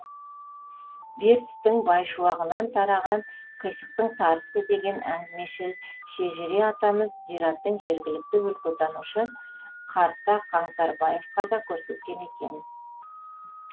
бертістің байшуағынан тараған қисықтың сарысы деген әңгімешіл шежіре атамыз зираттың жергілікті өлкетанушы қарта қаңтарбаевқа да көрсеткен екен